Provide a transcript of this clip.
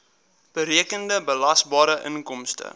berekende belasbare inkomste